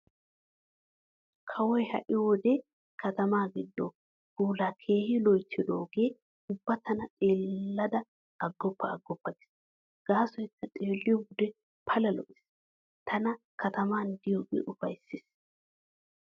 Kawoy ha'i wode katamaa giddo puulaa keehi loyttidoogee ubba tana xeellada aggoppa aggoppa gees, gaasoykka xeelliyo wode Pala lo'ees. Tana katamaan diyoogee ufayssees.